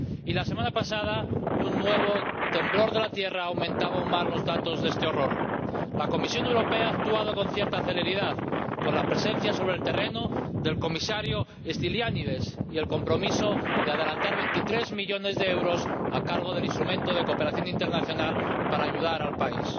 La semana pasada un nuevo temblor aumentaba aún más los datos de este horror. La Comisión Europea ha actuado con cierta celeridad con la presencia sobre el terreno del Comisario Stylianides y con el compromiso de adelantar 23 millones de euros con cargo al instrumento de cooperación internacional para ayudar al país.